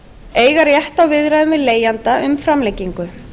eiga rétt á viðræðum við leigjanda um framlengingu